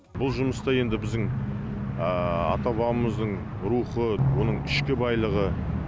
бұл жұмыста енді біздің ата бабамыздың рухы оның ішкі байлығы